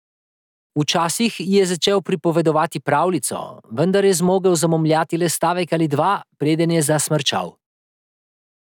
Včasih ji je začel pripovedovati pravljico, vendar je zmogel zamomljati le stavek ali dva, preden je zasmrčal.